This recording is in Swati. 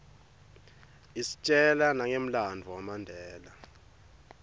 istjela nangemlanduvo wamandela